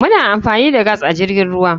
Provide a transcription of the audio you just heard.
Muna amfani da gas a jirgin ruwa.